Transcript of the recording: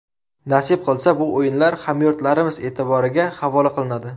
Nasib qilsa, bu o‘yinlar hamyurtlarimiz e’tiboriga havola qilinadi.